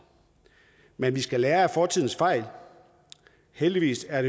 men vi skal lære af fortidens fejl heldigvis er